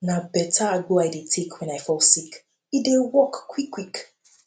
na beta agbo i dey take wen i fall sick e dey work quick quick